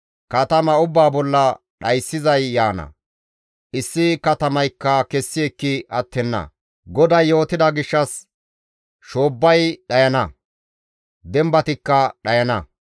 Katama ubbaa bolla dhayssizay yaana; issi katamaykka kessi ekki attenna; GODAY yootida gishshas shoobbay dhayana; dembatikka dhayana.